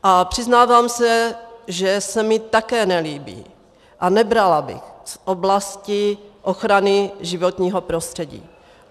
A přiznávám se, že se mi také nelíbí a nebrala bych z oblasti ochrany životního prostředí.